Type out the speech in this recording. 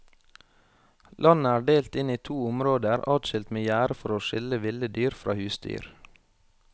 Landet er delt inn i to områder adskilt med gjerde for å skille ville dyr fra husdyr.